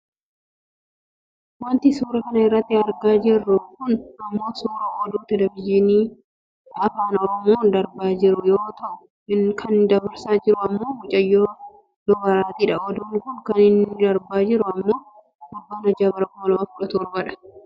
Wanti suuraa kana irratti argaa jirru kun ammoo suuraa oduu televijinii ETV afaan oromoon darbaa jiru yoo ta'u. Kan dabarsaa jiru ammoo mucayyoo duabaraatiidha. Oduun kun kan inni darbaa jiru ammoo fulbaana 6. Bara 2017 dha.